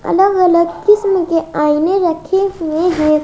अलग अलग किस्म के आईने रखे हुए हैं।